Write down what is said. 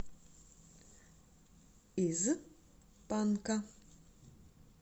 из панка